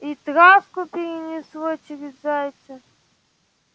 и травку перенесло через зайца